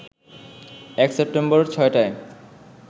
১ September ৬টায়